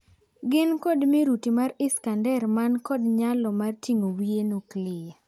Gin kod miruti mar Iskander man kod nyalo mar ting'o wiye nuklia.